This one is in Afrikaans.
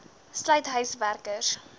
sluit huis werkers